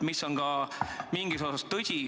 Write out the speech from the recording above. Mingis osas on see ka tõsi.